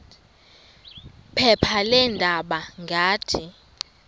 phepha leendaba ngathi